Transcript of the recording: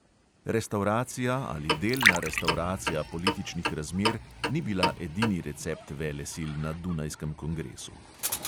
Restavracija ali delna restavracija političnih razmer ni bila edini recept velesil na dunajskem kongresu.